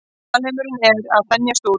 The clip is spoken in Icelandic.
Alheimurinn er að þenjast út.